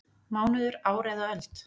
Mánuður, ár eða öld?